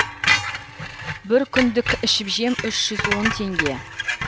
бір күндік ішіп жем үш жүз он теңге